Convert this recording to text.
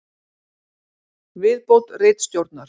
Viðbót ritstjórnar: